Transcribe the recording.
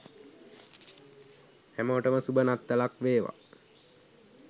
හැමෝටම සුභ නත්තලක් වේවා